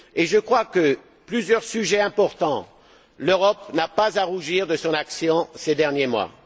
Je crois que, sur plusieurs sujets importants, l'Europe n'a pas à rougir de son action ces derniers mois.